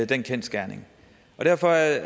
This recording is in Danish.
den kendsgerning derfor er jeg